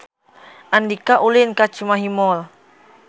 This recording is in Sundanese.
Andika ulin ka Cimahi Mall